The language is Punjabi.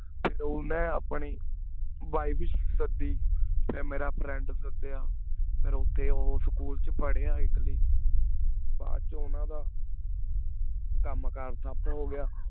ਫਿਰ ਓਨਾ ਆਪਣੀ ਵੈਲੇਸ਼ ਸਾਡੀ ਫਿਰ ਮੇਰਾ friend ਸਾਡੀਆ ਫਿਰ ਓਤੇ ਊ school ਚ ਪਾਰ੍ਹ੍ਯਾ ਇਟਲੀ ਬਾਅਦ ਚ ਓਨਾ ਦਾ ਕਾਮ ਕਰ ਟਾਪ ਹੋ ਗਿਆ